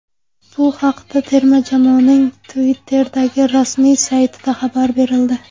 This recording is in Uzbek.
Bu haqda terma jamoaning Twitter’dagi rasmiy saytida xabar berildi .